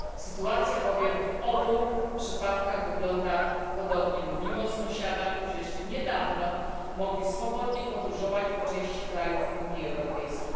Sytuacja bowiem w obu przypadkach wygląda podobnie mówimy o sąsiadach, którzy jeszcze niedawno mogli swobodnie podróżować po części krajów Unii Europejskiej.